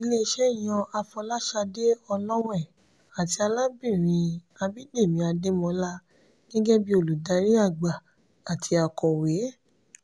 ilé-iṣẹ́ yan afolasade olowe àti arábìnrin abidemi ademola gẹ́gẹ́ bí olùdarí àgbà àti akọ̀wé.